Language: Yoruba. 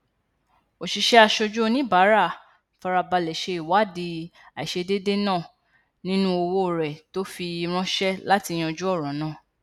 òṣìṣẹ aṣojú oníbàárà farabalẹ ṣe ìwádìí àìṣedéédé náà nínú owó rẹ tó fi ránṣẹ láti yanjú ọrọ náà